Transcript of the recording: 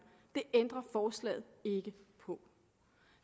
det ændrer forslaget ikke på